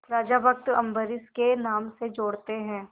राजा भक्त अम्बरीश के नाम से जोड़ते हैं